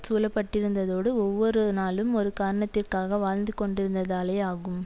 சூழப்பட்டிருந்ததோடு ஒவ்வொரு நாளும் ஒரு காரணத்திற்காக வாழ்ந்துகொண்டிருந்ததாலே ஆகும்